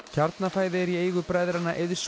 Kjarnafæði er í eigu bræðranna Eiðs